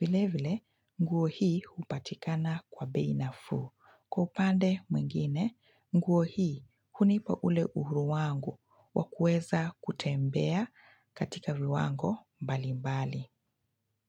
Vile vile, nguo hii hupatikana kwa bei nafuu. Kwa upande mwingine, nguo hii hunipa ule uhuru wangu wa kuweza kutembea katika viwango mbali mbali.